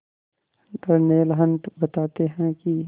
Darnell Hunt बताते हैं कि